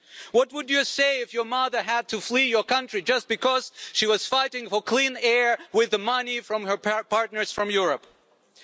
What would you say if your mother had to flee your country just because she was fighting for clean air with money from her European partners?